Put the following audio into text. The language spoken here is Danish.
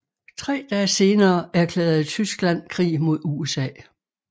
Tre dage senere erklærede Tyskland krig mod USA